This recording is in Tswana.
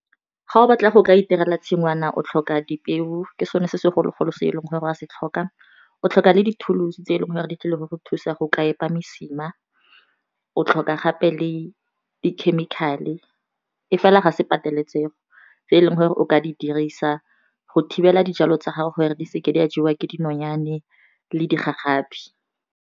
Ga o batla go ka itirela tshingwana o tlhoka dipeo ke sone se segologolo se e leng gore go a se tlhoka, o tlhoka le di thulosu tse e leng gore di tlileng go go thusa go ka epa mosima, o tlhoka gape le di chemical-e e fela ga se pateletsego tse e leng gore o ka di dirisa go thibela dijalo tsa gago gore di seke di a jewa ke dinonyane le di gagabi.